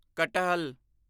ਕਟਹਲ